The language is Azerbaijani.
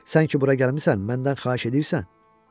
Sən ki bura gəlibsən, məndən xahiş edirsən?